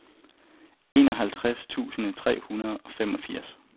enoghalvtreds tusind tre hundrede og femogfirs